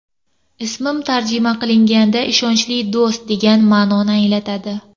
Ismim tarjima qilinganda ‘ishonchli do‘st’ degan ma’noni anglatadi.